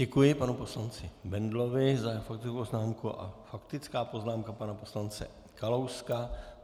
Děkuji panu poslanci Bendlovi za faktickou poznámku a faktická poznámka pana poslance Kalouska.